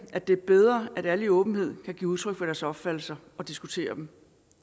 at det er bedre at alle i åbenhed kan give udtryk for deres opfattelser og diskutere dem